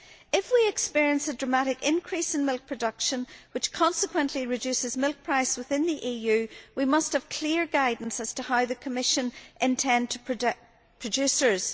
If we experience a dramatic increase in milk production which consequently reduces milk prices within the EU, we must have clear guidance as to how the Commission intends to protect producers.